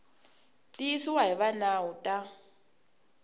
tiyisiwa hi va nawu ta